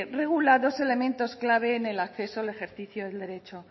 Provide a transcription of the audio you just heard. regula dos elementos claves en el acceso al ejercicio del derecho